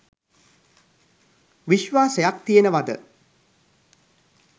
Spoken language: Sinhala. විශ්වාසයක් තියෙනවද